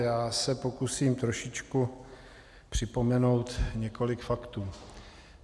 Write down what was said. Já se pokusím trošičku připomenout několik faktů.